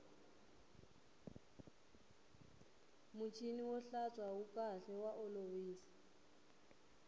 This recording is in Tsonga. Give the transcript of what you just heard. muchini wo hlantswa wu kahle wa olovisa